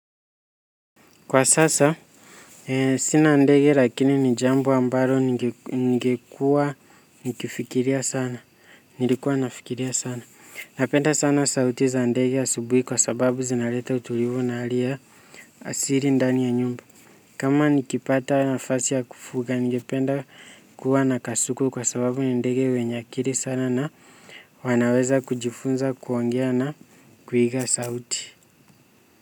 Kwa sasa, sina ndege lakini ni jambo ambalo ningekuwa nikifikiria sana, nilikuwa nafikiria sana. Napenda sana sauti za ndege asubuhi kwa sababu zinaleta utulivu na hali ya asili ndani ya nyumba. Kama nikipata nafasi ya kufuga, ningependa kuwa nakasuku kwa sababu ni ndege wenye akili sana na wanaweza kujifunza kuongea na kuiga sauti.